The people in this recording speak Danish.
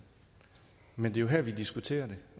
men det er jo her vi diskuterer det